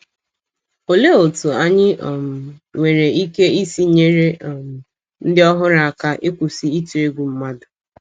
Olee otú anyị um nwere ike isi nyere um ndị ọhụrụ aka ịkwụsị ịtụ egwu mmadụ?